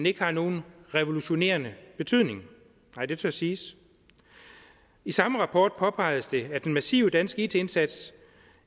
ikke har nogen revolutionerende betydning nej det tør siges i samme rapport påpegedes det at af den massive danske it indsats